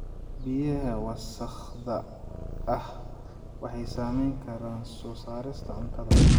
Biyaha wasakhda ah waxay saameyn karaan soo saarista cuntada.